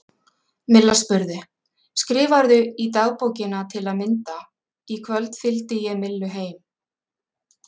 Milla spurði: Skrifarðu í dagbókina til að mynda: Í kvöld fylgdi ég Millu heim?